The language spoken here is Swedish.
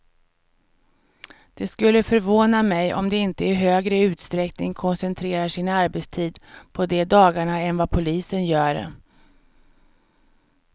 Det skulle förvåna mig om de inte i högre utsträckning koncentrerar sin arbetstid på de dagarna än vad polisen gör.